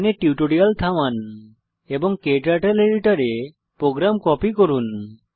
এখানে টিউটোরিয়াল থামান এবং ক্টার্টল এডিটর এ প্রোগ্রাম কপি করুন